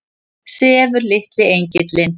Sefur litli engillinn?